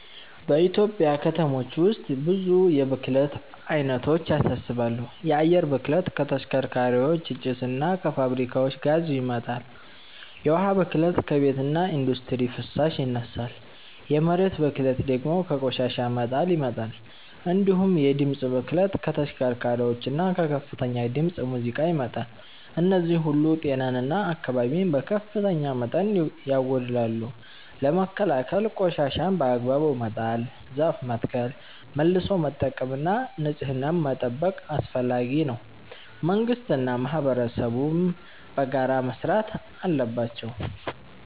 በኢትዮጵያ ከተሞች ውስጥ ብዙ የብክለት አይነቶች ያሳስባሉ። የአየር ብክለት ከተሽከርካሪዎች ጭስ እና ከፋብሪካዎች ጋዝ ይመጣል፤ የውሃ ብክለት ከቤትና ኢንዱስትሪ ፍሳሽ ይነሳል፤ የመሬት ብክለት ደግሞ ከቆሻሻ መጣል ይመጣል። እንዲሁም የድምፅ ብክለት ከተሽከርካሪዎችና ከከፍተኛ ድምፅ ሙዚቃ ይመጣል። እነዚህ ሁሉ ጤናን እና አካባቢን በከፍተኛ መጠን ያጎድላሉ። ለመከላከል ቆሻሻን በአግባቡ መጣል፣ ዛፍ መትከል፣ መልሶ መጠቀም እና ንጽህናን መጠበቅ አስፈላጊ ነው፤ መንግስትና ማህበረሰብም በጋራ መስራት አለባቸው።